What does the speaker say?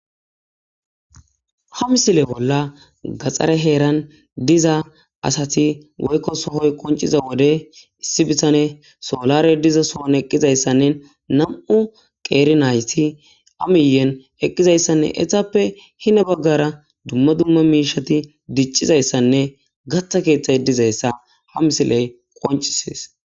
hamsile bolla gaxxare heeran diza asati woykko sohoy qonciza wode issi bitane soolare diza soon eqqizayssanne nam7u qeeri nayssi amiyen eqqizayssanne etappe hina baggara dumma dumma miishati diccizayssanne gatta keexxay dizayssa hamsiley qoncisees